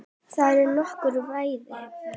Þar er nokkur veiði.